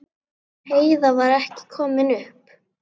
Heiða var ekki komin upp.